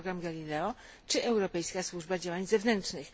program Galileo czy Europejska Służba Działań Zewnętrznych.